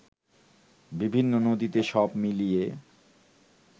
বিভিন্ন নদীতে সব মিলিয়ে